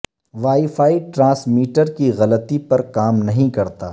wi fi transmitter کی غلطی پر کام نہیں کرتا